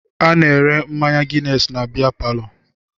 A na-ere mmanya ginesi na bea palọ